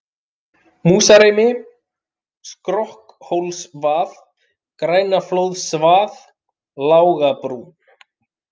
Músarimi, Skrokkhólsvað, Grænaflóðsvað, Lágabrún